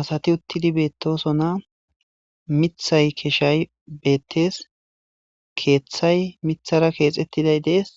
asati uttidi beettosona mithay keshay beettes keeththay mithara keexettiday dees